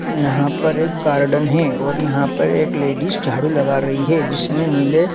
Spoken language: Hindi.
यहाँ पर एक गार्डन है और यहाँ पर एक लेडिस झाड़ू लगा रही है जिसने नीले --